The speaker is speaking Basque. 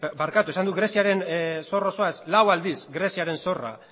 barkatu esan dut greziaren zor osoa ez lau aldiz greziaren zorra